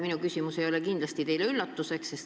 Minu küsimus ei ole teile kindlasti üllatuseks.